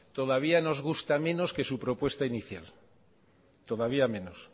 todavía nos gusta menos que su propuesta inicial todavía menos